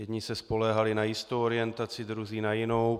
Jedni se spoléhali na jistou orientaci, druzí na jinou.